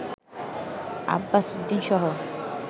Abbas উদ্দিনসহ